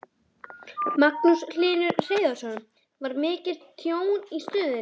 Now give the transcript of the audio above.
Magnús Hlynur Hreiðarsson: Var mikið tjón í stöðinni?